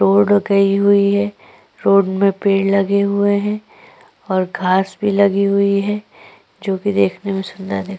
road गई हुई है रोड में पेड़ लगे हुए हैं और घास भी लगी हुई है जो की देखने में सुंदर दिख--